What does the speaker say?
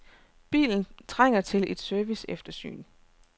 Bilen trænger til et serviceeftersyn.